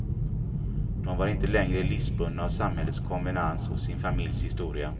De var inte längre livsbundna av samhällets konvenans och sin familjs historia.